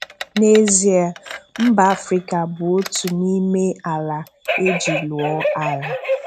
N'ezie, Mba Afrịka bụ otu n'ime àlà e ji lụọ ágha.